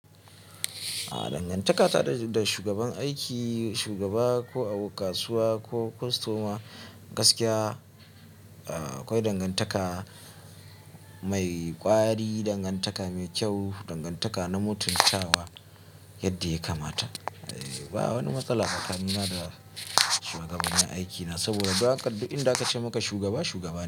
Dangantaka ta da shugaban aiki, shugaba ko a kasuwa ko kostoma gaskiya akwai dangantaka mai kwari, dangantaka mai kyau, dangantaka na mutunci da yadda ya kamata. Ba wani matsala tsakani na da shugabani aikina saboda in da aka ce maka shugaba, shugaba ne.